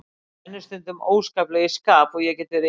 Mér rennur stundum óskaplega í skap og ég get verið illskeytt.